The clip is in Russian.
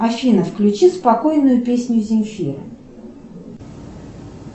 афина включи спокойную песню земфиры